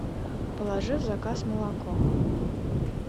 положи в заказ молоко